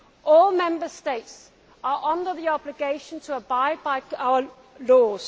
All Member States are under the obligation to abide by our laws.